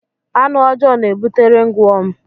Anụ ọjọọ na-ebute ringwọm.